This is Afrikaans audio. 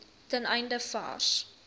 ten einde vars